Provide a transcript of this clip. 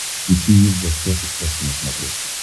включи мне в гостях у сказки на смотрешке